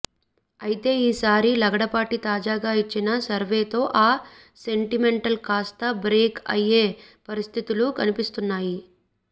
అయితే ఈసారి లగడపాటి తాజాగా ఇచ్చిన సర్వేతో ఆ సెంటిమెంట్ కాస్త బ్రేక్ అయ్యే పరిస్థితులు కనిపిస్తున్నాయి